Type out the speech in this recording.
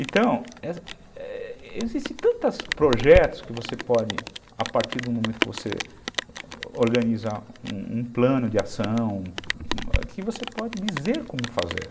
Então, existem tantos projetos que você pode, a partir do momento que você organiza um plano de ação, que você pode dizer como fazer.